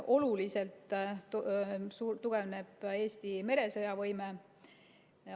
Oluliselt tugevneb Eesti meresõjavõime.